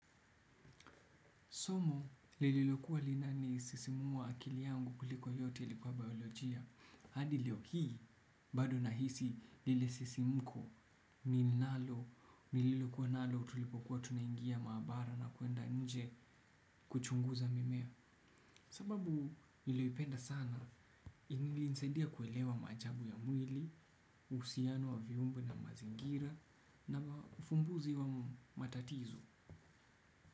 Somo lililokuwa linasisimua akili yangu kwa yote lilikuwa biolojia hadi leo hii, bado nahisi lile sisimuko, ninalo, nililokuwa nalo tulipokuwa tunaingia maabara na kuenda nje kuchunguza mimea. Sababu nililipenda sana, lilinisaidia kuelewa maajabu ya mwili, uhusiano wa viungo na mazingira na ufumbuzi wa matatizo.